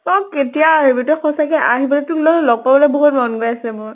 তই কেতিয়া আহিবি? তই সঁচাকে আহিবলৈ তোৰ লগ ত লগ পাবলৈ বহুত মন গৈ আছে মোৰ।